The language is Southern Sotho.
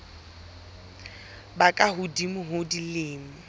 ba ka hodimo ho dilemo